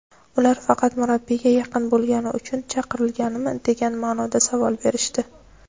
ular faqat murabbiyga yaqin bo‘lgani uchun chaqirilganmi degan ma’noda savol berishdi.